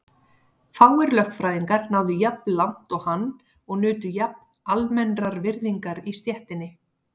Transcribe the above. Fáir lögfræðingar náðu jafn langt og hann og nutu jafn almennrar virðingar í stéttinni.